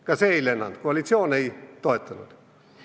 Ka see ei läinud läbi, koalitsioon ei toetanud.